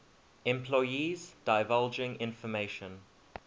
employees divulging information